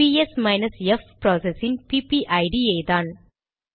PS minus F process இன் பிபிஐடிPPID யேதான்